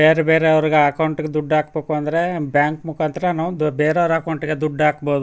ಬೇರೆಬೇರೆ ಅವ್ರ ಅಕೌಂಟ್ ಗೆ ದುಡ್ಡ್ ಹಾಕಬೇಕಂದ್ರೆ ಬ್ಯಾಂಕ್ ಮುಕಾಂತರ ನಾವು ಬೇರೆವ್ರ್ ಅಕೌಂಟ್ ಗೆ ದುಡ್ಡ್ ಹಾಕಬಹುದು.